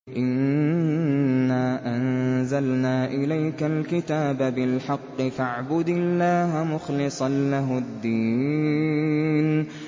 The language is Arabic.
إِنَّا أَنزَلْنَا إِلَيْكَ الْكِتَابَ بِالْحَقِّ فَاعْبُدِ اللَّهَ مُخْلِصًا لَّهُ الدِّينَ